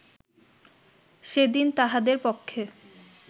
সেদিন তাহাদের পক্ষে